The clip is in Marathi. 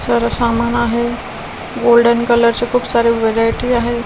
सर्व सामान आहे गोल्डन कलर चे खूप सारे व्हेरायटी आहे.